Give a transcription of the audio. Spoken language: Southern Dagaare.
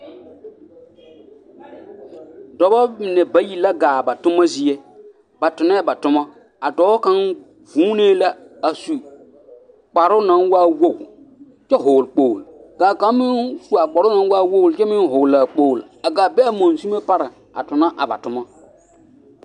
Dɔbɔ mine bayi la ɡaa ba toma zie ba tonɛɛ ba toma a dɔɔ kaŋ vuunee la a su kparoo naŋ waa woɡi kyɛ vɔɔle kpoɡele ka kaŋ meŋ su a kparoo naŋ waa woɡi kyɛ meŋ hɔɔle a kpoɡelea ɡaa be a monsumo pareŋ a tona a ba toma.